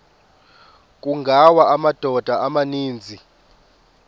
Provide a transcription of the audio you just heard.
kungawa amadoda amaninzi